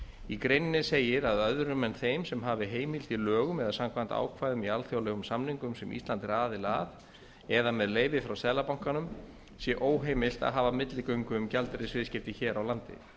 í greininni segir að öðrum en þeim sem hafi heimild í lögum eða samkvæmt ákvæðum í alþjóðlegum samningum sem ísland er aðili að eða með leyfi frá seðlabankanum sé óheimilt að hafa milligöngu um gjaldeyrisviðskipti hér á landi